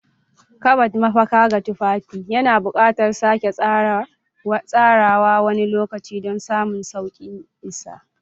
Kabad, mafaka ga tufafi, yana buƙatar sake tsarawa wani lokaci don samun sauƙin isa.